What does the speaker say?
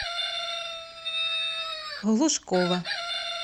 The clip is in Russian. глушкова